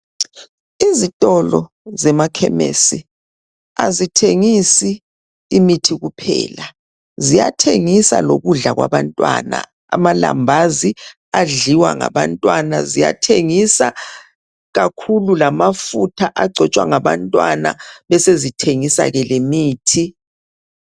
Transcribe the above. Izitolo zemakhemisi azithengisi imithi kuphela ziyathengisa lokudla kwabantwana amalambazi adliwa ngabantwana, ziyathengisa kakhulu lamafutha abantwana besezithengisa ke lemithi.